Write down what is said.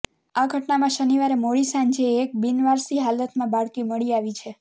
આ ઘટનામાં શનિવારે મોડી સાંજે એક બિનવારસી હાલતમાં બાળકી મળી આવી છે